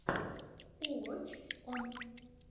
уоч он